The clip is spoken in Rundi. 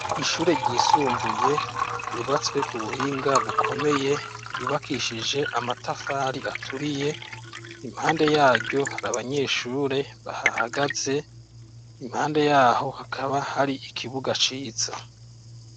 Ishure ry'isumbuye ryubatswe k'ubuhinga bukomeye ryubakishijwe amatafari aturiye impande yaryo Hari abanyeshure bahahagaze impande yaho hakaba hari ikibuga ciza.